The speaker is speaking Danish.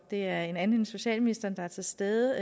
er en anden end socialministeren der er til stede